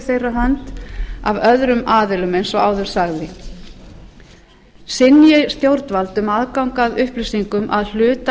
þeirra hönd af öðrum aðilum eins og áður sagði synji stjórnvald um aðgang að upplýsingum að hluta